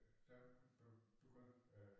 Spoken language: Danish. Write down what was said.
Der øh begyndte øh